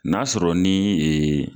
N' y'a sɔrɔ ni